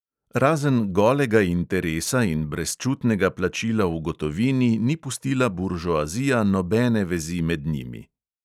Razen golega interesa in brezčutnega plačila v gotovini ni pustila buržoazija nobene vezi med njimi.